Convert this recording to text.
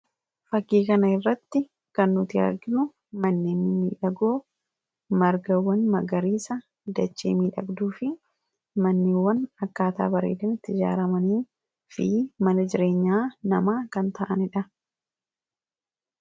Fakkii kana irratti kan nuti argInu manneen miidhagoo margawwan magariisa dachee miidhagduu fi manneewwan akkaataa bareedanitti jaaramanii fi mana jireenyaa namaa kan ta'aniidha.